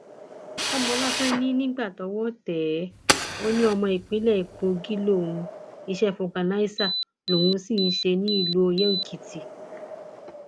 kọmọláfẹ ní nígbà tọwọ tẹ ẹ ó ní ọmọ ìpínlẹ kogi lòún iṣẹ fọgànàṣá lòún sì ń ṣe nílùú oyèèkìtì